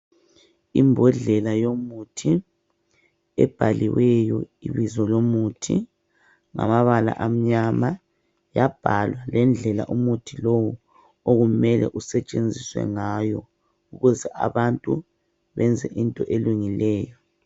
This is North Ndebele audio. Imbodlela yomuthi ebhaliweyo ibizo lomuthi ngamabala amnyama yabhalwa lendlela umuthi lowu okumele usetshenziswe ngayo ukuze abantu benze into elungileyo .